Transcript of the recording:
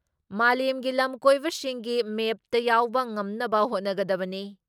ꯃꯥꯂꯦꯝꯒꯤ ꯂꯝ ꯀꯣꯏꯕꯁꯤꯡꯒꯤ ꯃꯦꯞꯇ ꯌꯥꯎꯕ ꯉꯝꯅꯕ ꯍꯣꯠꯅꯒꯗꯕꯅꯤ ꯫